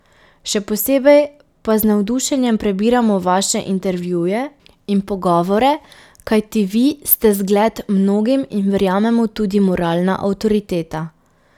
Še posebno pa z navdušenjem prebiramo Vaše intervjuje in pogovore, kajti Vi ste zgled mnogim in verjamemo tudi moralna avtoriteta.